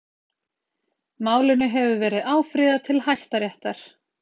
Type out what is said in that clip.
Málinu hefur verið áfrýjað til Hæstaréttar